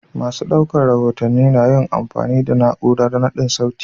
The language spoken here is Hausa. Masu ɗauko rahotanni na yin amfani da na'urar naɗar sauti.